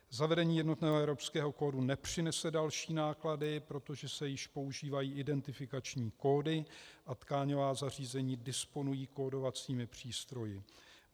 Zavedení jednotného evropského kódu nepřinese další náklady, protože se již používají identifikační kódy a tkáňová zařízení disponují kódovacími přístroji.